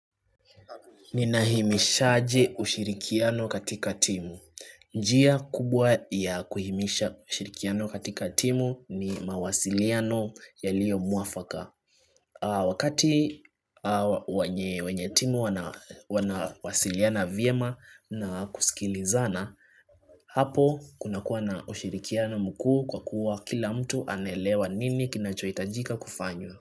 Nina himishaje ushirikiano katika timu. Njia kubwa ya kuhimisha ushirikiano katika timu ni mawasiliano yalio muafaka. Wakati wenyetimu wanawasiliana vyema na kusikilizana, hapo kunakua na ushirikiano mkuu kwa kuwa kila mtu anelewa nini kinachoitajika kufanywa.